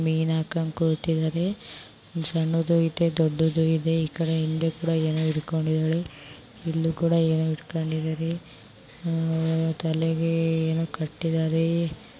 ಮೀನು ಹಾಕೊಂಡು ಕುಂತಿದ್ದಾರೆ ಸಣ್ಣದು ಇದೆ ದೊಡ್ಡದು ಇದೆ. ಈ ಕಡೆ ಇನ್ನೂ ಕೂಡ ಯಾರು ಇಟ್ಕೊಂಡಿದ್ದಾರೆ ಇಲ್ಲೂ ಕೂಡ ಏನೋ ಇಟ್ಕೊಂಡಿದ್ದಾರೆ. ತಲೆಗೆ ಏನೋ ಕಟ್ಟಿದರೆ.